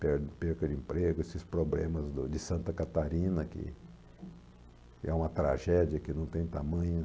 credo, perca de emprego, esses problemas do de Santa Catarina, que que é uma tragédia que não tem tamanho.